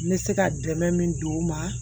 N bɛ se ka dɛmɛ min don o ma